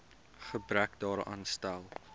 gebrek daaraan stel